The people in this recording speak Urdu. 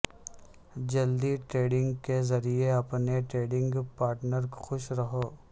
جلدی ٹریڈنگ کے ذریعے اپنے ٹریڈنگ پارٹنر خوش رہو